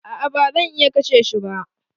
A'a ba zan iya kashe shi ba.